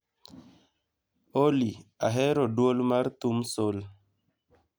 olly ahero dwol mar thum sol